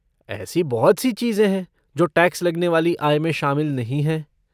ऐसी बहुत सी चीजें हैं जो टैक्स लगने वाली आय में शामिल नहीं हैं।